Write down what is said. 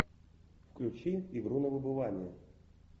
включи игру на выбывание